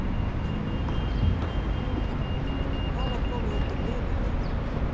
Þá var komið undir miðnætti